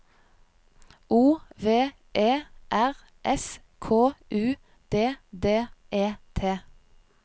O V E R S K U D D E T